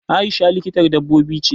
Aisha likitar dabbobi ce.